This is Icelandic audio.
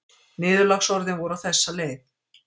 Niðurlagsorðin voru á þessa leið